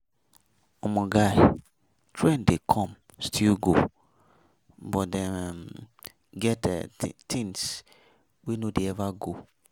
Omo guy, trend dey come still go but dem um get um things wey no dey ever go.